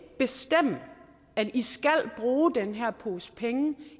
bestemme at i skal bruge den her pose penge